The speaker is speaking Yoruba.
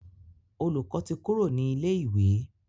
Olùkó tí Kúrò ní ilè ìwé.